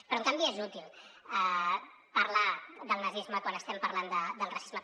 però en canvi és útil parlar del nazisme quan estem parlant del racisme